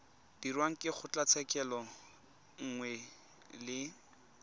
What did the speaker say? dirwang ke kgotlatshekelo nngwe le